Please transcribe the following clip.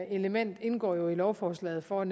element indgår jo i lovforslaget for at